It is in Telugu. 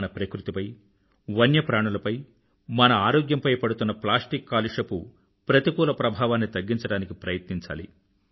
మన ప్రకృతిపై వన్య ప్రాణులపై మన ఆరోగ్యంపై పడుతున్న ప్లాస్టిక్ కాలుష్యపు ప్రతికూల ప్రభావాన్ని తగ్గించడానికి ప్రయత్నించాలి